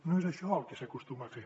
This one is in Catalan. no és això el que s’acostuma a fer